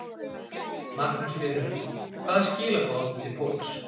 Magnús Hlynur: Hvaða skilaboð áttu til fólks?